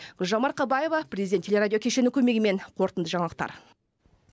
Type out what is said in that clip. гүлжан марқабаева президент телерадио кешенінің көмегімен қорытынды жаңалықтар